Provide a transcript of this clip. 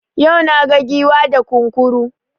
Yau naga Giwa da Kunkuru